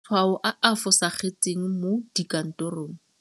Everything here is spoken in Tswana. Matshwao a a fosagetseng mo dikantorong.